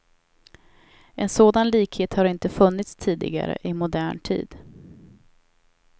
En sådan likhet har inte funnits tidigare i modern tid.